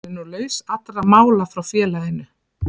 Hann er nú laus allra mála frá félaginu.